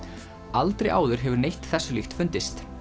aldrei áður hefur neitt þessu líkt fundist